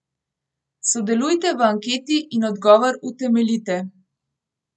Sodelujte v anketi in odgovor utemeljite.